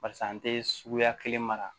Barisa an tɛ suguya kelen mara